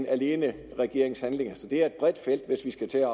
alene regeringens handlinger så det er et bredt felt hvis vi skal til